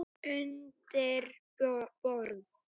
Undir borð.